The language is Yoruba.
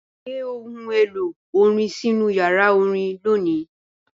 Gbé ohun èlò orin sínú yàrá orin lónìí!